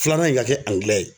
Filanan in ka kɛ angilɛ ye